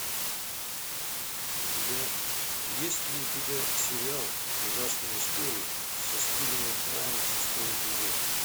у тебя есть ли у тебя сериал ужасные истории со стивеном фраем шестой эпизод